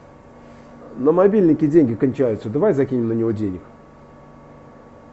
на мобильнике деньги кончаются давай закинем на него денег